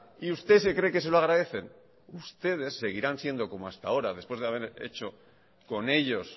y usted se cree que se lo agradecen ustedes seguirán siendo como hasta ahora después de haber hecho con ellos